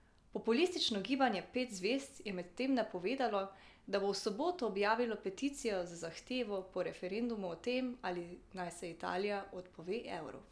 Populistično Gibanje pet zvezd je medtem napovedalo, da bo v soboto objavilo peticijo z zahtevo po referendumu o tem, ali naj se Italija odpove evru.